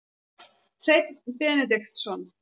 Hreinn Benediktsson